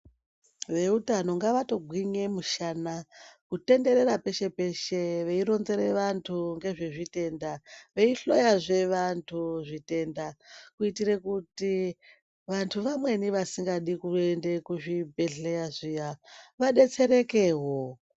Veutano ngavatogwinye mushana kutenderera peshe-peshe veironzere vantu ngezvezvitenda. Veihloyazve vantu zvitenda kuitira kuti vantu vamweni vasikadi kuende kuzvibhedhleya zviya vadetserekevo.